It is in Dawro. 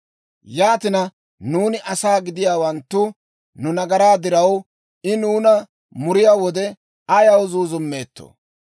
Yaatina, nuuni asaa gidiyaawanttu nu nagaraa diraw, I nuuna muriyaa wode, ayaw zuuzummeettoo?